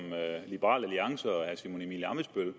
liberal alliance og herre simon emil ammitzbøll